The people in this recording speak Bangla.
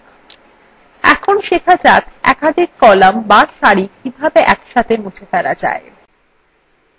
এখন শেখা যাক একাধিক কলাম বা সারি কিভাবে একসাথে মুছে ফেলা যায়